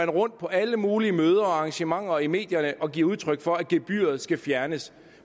rundt på alle mulige møder arrangementer og i medierne og giver udtryk for at gebyret skal fjernes